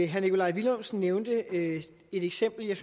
herre nikolaj villumsen nævnte et eksempel jeg